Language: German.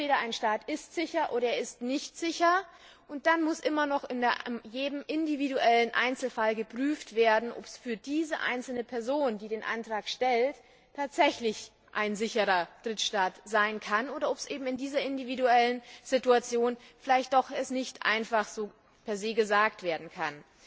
Entweder ein Staat ist sicher, oder er ist nicht sicher und dann muss immer noch in jedem individuellen Fall geprüft werden, ob es für die jeweilige Person, die den Antrag stellt, tatsächlich ein sicherer Drittstaat sein kann, oder ob dies in der individuellen Situation vielleicht doch nicht einfach so per se gesagt werden kann.